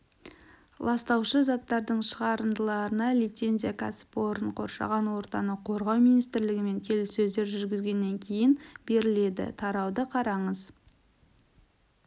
ластаушы заттардың шығарындыларына лицензия кәсіпорын қоршаған ортаны қорғау министрлігімен келіссөздер жүргізгеннен кейін беріледі тарауды қараңыз